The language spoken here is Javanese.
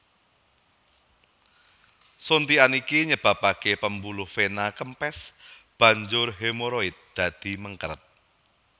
Suntikan iki nyebabake pembuluh vena kempes banjur hemoroide dadi mengkeret